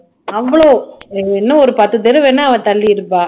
அவ்ளோ இன்னும் ஒரு பத்து தடவை வேணா தள்ளி இருப்பா